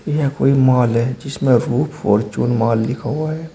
यह कोई मॉल है जिसमें रूफ फॉर्चून माल लिखा हुआ है।